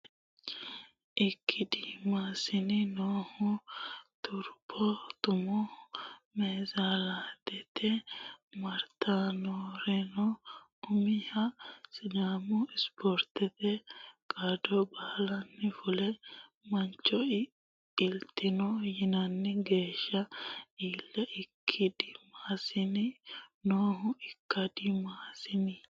Ikkadimmasinni noohu Turbo Tummo Neezerlaandete maaraatoonerano umiha Sidaamu ispoortete qaddo Balayne fule mancho iltino yinanni geeshsha iilli Ikkadimmasinni noohu Ikkadimmasinni.